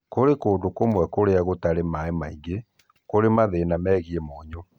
Kũrĩ kũndũ kũmwe kũrĩa gũtarĩ maĩ maingĩ kũrĩ na mathĩna megiĩ mũnyũ